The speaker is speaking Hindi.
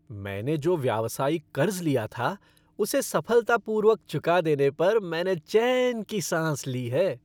मैंने जो व्यावसायिक क़र्ज़ लिया था, उसे सफलतापूर्वक चुका देने पर मैंने चैन की साँस ली है।